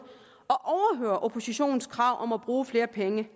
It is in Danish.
at overhøre oppositionens krav om at bruge flere penge